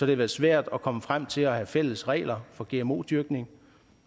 det været svært at komme frem til at have fælles regler for gmo dyrkning og